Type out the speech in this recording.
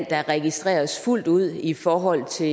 der registreres fuldt ud i forhold til